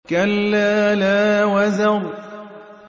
كَلَّا لَا وَزَرَ